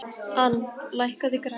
Ann, lækkaðu í græjunum.